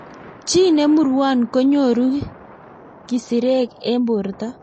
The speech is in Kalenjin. chi ne murwon ko nyoru kisirek eng' borto